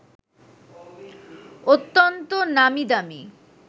অত্যন্ত নামীদামি